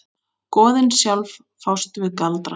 Goðin sjálf fást við galdra.